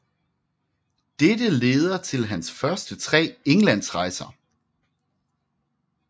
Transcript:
Dette leder til hans første tre Englandsrejser